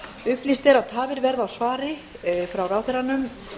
upplýst er að tafir verða á svari frá ráðherranum